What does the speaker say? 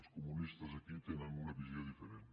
els comunistes aquí tenen una visió diferent